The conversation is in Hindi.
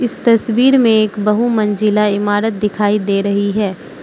तस्वीर में एक बहुमंजिला इमारत दिखाई दे रही है।